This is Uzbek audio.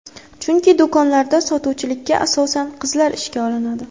Chunki do‘konlarda sotuvchilikka, asosan, qizlar ishga olinadi.